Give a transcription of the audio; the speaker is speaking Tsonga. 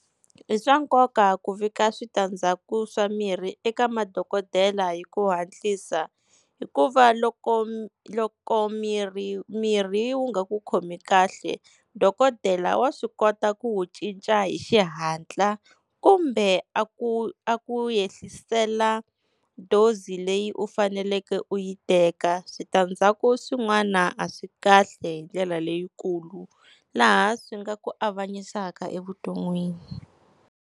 I swa nkoka ku vika switandzhaku swa mirhi eka madokodela hi ku hatlisa, hikuva loko loko mirhi, mirhi wu nga ku khomi kahle dokodela wa swi kota ku wu cinca hi xihatla kumbe a ku a ku yehlisela dose leyi u faneleke u yi teka. Switandzhaku swin'wana a swi kahle hi ndlela leyikulu laha swi nga ku avanyisaka evuton'wini.